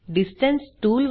distance tool